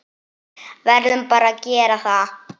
Verðum bara að gera það.